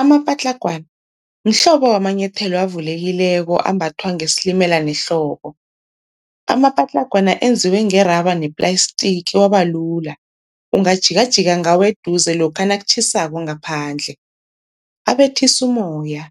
Amapatlagwana mhlobo wamanyethelo avulekileko ambathwa ngesilimela nehlobo. Amapatlagwana enziwe ngeraba neplayistiki aba lula, ungajikajika ngawo eduze lokha nakutjhisako ngaphandle. Abethisa umoya,